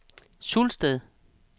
Sulsted